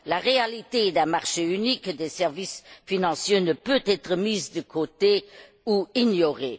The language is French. La réalité d'un marché unique des services financiers ne peut être mise de côté ou ignorée.